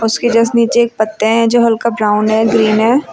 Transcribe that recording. उसके जस्ट नीचे एक पत्ते हैं जो हल्का ब्राउन है ग्रीन है।